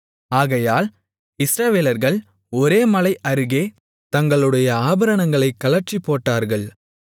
ஆகையால் இஸ்ரவேலர்கள் ஓரேப் மலை அருகே தங்களுடைய ஆபரணங்களைக் கழற்றிப்போட்டார்கள்